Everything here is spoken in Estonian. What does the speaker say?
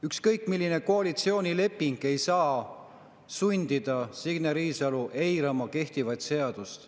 Ükskõik milline koalitsioonileping ei saa sundida, Signe Riisalo, eirama kehtivat seadust.